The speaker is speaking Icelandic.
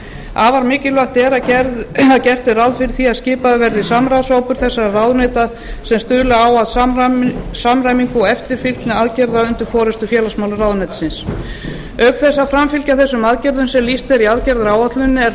afar mikilvægt er að gert er ráð fyrir því að skipaður verði samráðshópur þessara ráðuneyta sem stuðla á að samræmingu og eftirfylgni aðgerða undir forustu félagsmálaráðuneytisins auk þess að framfylgja þessum aðgerðum sem lýst er í aðgerðaáætluninni er